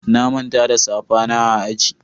na Manta da safa na a aji.